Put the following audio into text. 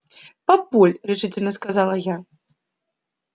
папуль решительно сказала я